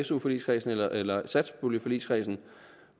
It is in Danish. su forligskredsen eller eller satspuljeforligskredsen